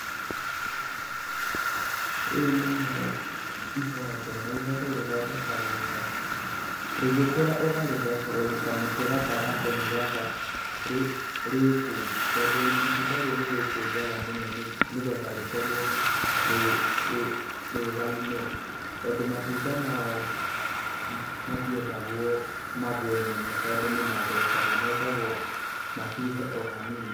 Rĩrĩ nĩ ihondo na ihondo rĩthondekagwo ta; rĩgĩkũra ũkarĩthecereri kamũtĩ gatagatĩ nĩ getha rīkūri tondũ itunda rĩrĩ nĩ rĩkũnjaga mũno, nĩ getha rĩkorwo rĩrũgaime tondũ matunda mayo matiendagwo magũe mũno tondũ nĩ mathũkaga. Mendagwo macuhe o hanini.